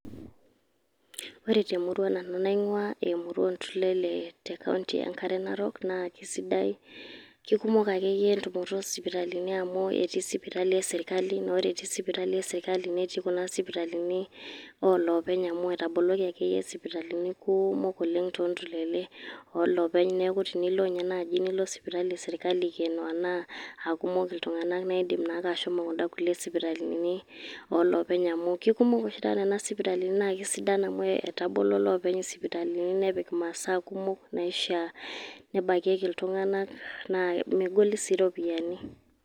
Ore te murua nanu naing`uaa, aa emurua oo ntulele te kaunti enkare narok. Naa keisidai, keikumok akeyie entumoto oo sipitalini, amu etii sipitali e sirkali. Naa ore etii sipitali e sirkali netii kuna sipitalini oo loopeny amu etaboloki akeyie sipitalini kumok oleng too ntulele oo loopeny niaku tenilo ninye naaji sipitali e sirkali eikeno anaa aikumok iltung`anak naa idim ashomo kun`da sipitalini oo loopeny. Amu keikumok oshi taata nena sipitalini naa keisidan, amu etabolo loopeny isipitalini nepik imasaa kumok naishia nebakieki iltung`anak. Naa megoli sii ropiyiani.